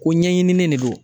Ko ɲɛɲinilen de don